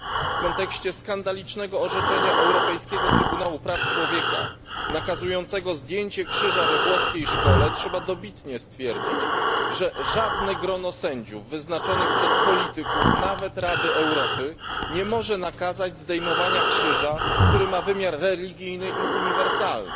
W kontekście skandalicznego orzeczenia Europejskiego Trybunału Praw Człowieka, nakazującego zdjęcie krzyża we włoskiej szkole, trzeba dobitnie stwierdzić, że żadne grono sędziów wyznaczonych przez polityków, nawet Rady Europy, nie może nakazać zdejmowania krzyża, który ma wymiar religijny i uniwersalny.